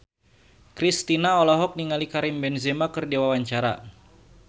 Kristina olohok ningali Karim Benzema keur diwawancara